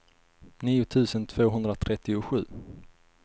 nio tusen tvåhundratrettiosju